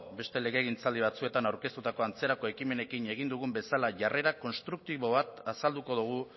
beste legegintzaldi batzuetan aurkeztutako antzerako ekimenekin egin dugun bezala jarrera konstruktibo bat azalduko dugu